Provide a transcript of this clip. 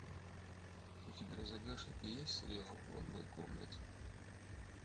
у тебя в загашнике есть сериал в одной комнате